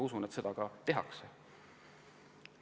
Usun, et seda edaspidi ka tehakse.